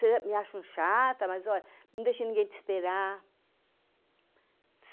Vocês me acham chata, mas, olha, não deixe ninguém te esperar.